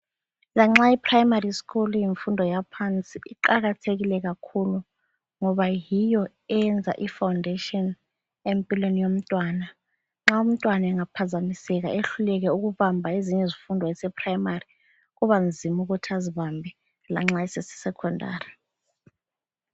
Lanxa iPrimary school iyimfundo yaphansi, iqakathekile kakhulu ngoba yiyo eyenza ifoundation empilweni yomntwana. Nxa umntwana engaphazamiseka ehluleke ukubamba ezinye izifundo esePrimary kubanzima ukuthi azibambe lanxa eseseSecondary.